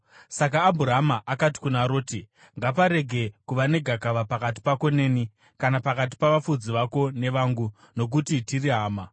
Saka Abhurama akati kuna Roti, “Ngaparege kuva negakava pakati pako neni, kana pakati pavafudzi vako nevangu, nokuti tiri hama.